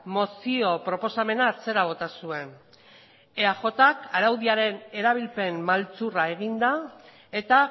mozio proposamena atzera bota zuen eajk araudiaren erabilpen maltzurra eginda eta